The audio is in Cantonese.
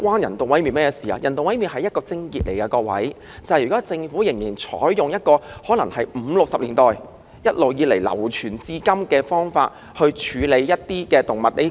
人道毀滅是問題的癥結，因為政府現時仍採用可能由1950年代、1960年代流傳至今的方法處理動物問題。